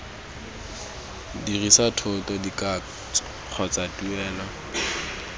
dirisa thoto dikatso kgotsa tuelo